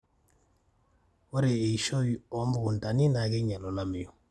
ore eishoi omukuntani na keinyial olameyu